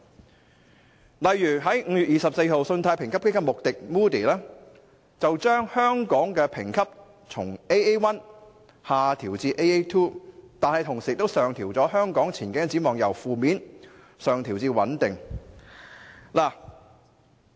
舉例而言，在5月24日，信貸評級機構穆迪把香港的評級從 "Aa1" 下調至 "Aa2"， 但同時把香港的前景展望由"負面"上調至"穩定"。